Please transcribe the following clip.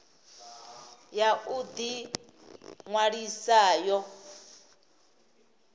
ya u ḓi ṅwalisa yo